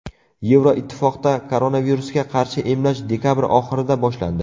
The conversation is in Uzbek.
Yevroittifoqda koronavirusga qarshi emlash dekabr oxirida boshlandi.